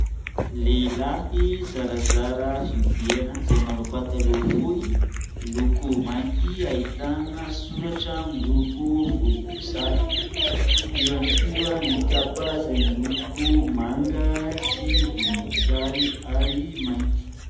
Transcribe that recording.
Lehilahy zarazara fiihodirana, izay manao pataloha fohy miloko mainty, ahitana soratra miloko volomboasary; io ihany koa nykapa izaymiloko manga sy volomboasary ary mainty.